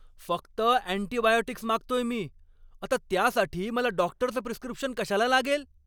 फक्त अँटिबायोटिक्स मागतोय मी! आता त्यासाठी मला डॉक्टरचं प्रिस्क्रिप्शन कशाला लागेल?